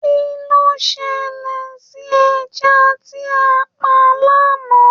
Kilo ṣẹlẹ sí ẹja tí a pa l'ana?